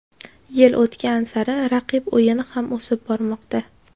Yil o‘tgan sari raqib o‘yini ham o‘sib bormoqda.